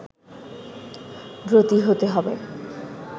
ব্রতী হতে হবে